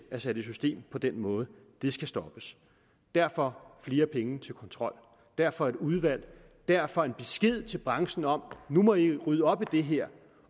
er sat i system på den måde det skal stoppes derfor flere penge til kontrol derfor et udvalg derfor en besked til branchen om nu må i rydde op i det her